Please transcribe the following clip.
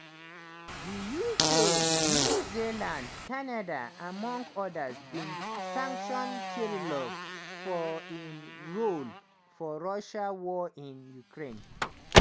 di uk new zealand canada among odas bin sanction kirillov for im role for russia war in ukraine.